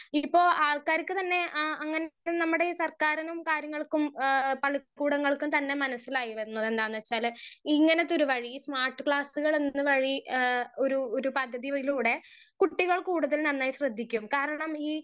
speaker 1 ഇപ്പൊ ആൾക്കാർക്ക് തന്നെ ആ അങ്ങനെ നമ്മടെ ഈ സർക്കാർറിനും കാര്യങ്ങൾക്കും എഹ് പളി കൂടങ്ങൾക്കും തന്നെ മനസിലായി വന്നു എന്നാന്ന് വെച്ചാൽ ഇങ്ങനത്തൊരു വഴി ഈ സ്‍മാർട്ട് ക്ലാസുകൾ എന്ന വഴി എഹ് ഒരു ഒരു പകുതിവലൂടെ കുട്ടികൾ കൂടുതൽ നന്നായി ശ്രേമിക്കും കാരണം ഈ